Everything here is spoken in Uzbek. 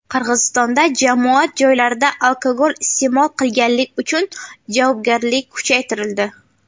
Qirg‘izistonda jamoat joylarida alkogol iste’mol qilganlik uchun javobgarlik kuchaytirildi.